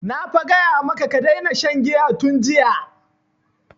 Na fa gaya maka ka daina shan giya tun jiya!